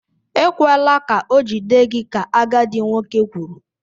Ekwela ka ọ jide gị! ka agadi nwoke kwuru.